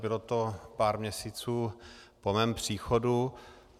Bylo to pár měsíců po mém příchodu.